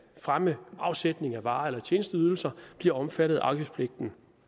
fremme afsætning af varer eller tjenesteydelser bliver omfattet af afgiftspligten